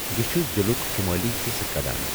یہٕ چھُ ضِلُک شمٲلی حصہٕ کڑان۔